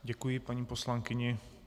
Děkuji paní poslankyni.